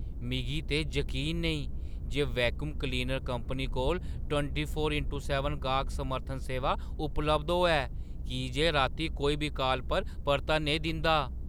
मिगी ते जकीन नेईं जे वैक्यूम क्लीनर कंपनी कोल टवंटी फ़ोर इंटू सैबन गाह्क समर्थन सेवा उपलब्ध होऐ की जे रातीं कोई बी काल पर परता नेईं दिंदा ।